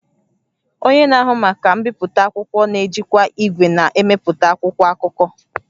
Onye na-ahụ maka mbipụta akwụkwọ na-ejikwa igwe na-emepụta akwụkwọ akụkọ